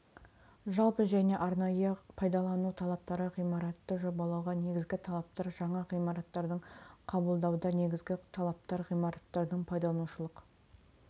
жалпы және арнайы пайдалану талаптары ғимаратты жобалауға негізгі талаптар жаңа ғимараттардың қабылдауда негізгі талаптар ғимараттардың пайдаланушылық